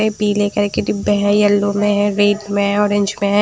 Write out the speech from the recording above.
ये पीले करके डिब्बे है येलो में है रेड में है ऑरेंज में हैं।